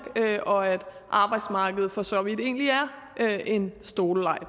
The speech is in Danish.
og at arbejdsmarkedet for så vidt egentlig er en stoleleg